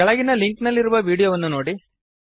ಕೆಳಗಿನ ಲಿಂಕ್ ನಲ್ಲಿರುವ ವೀಡಿಯೋವನ್ನು ನೋಡಿರಿ